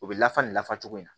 U bɛ lafasa nin nafa cogo in na